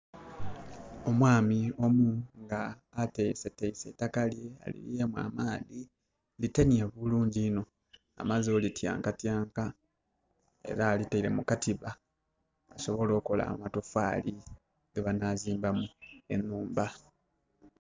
Omwami omu nga atesetese eitakka lye, aliyiyemu amaadhi litenye bulungi inho amaze oli tyankatyanka era alitaire mu katiba asobole okola amotofali gebanazimbamu enhumba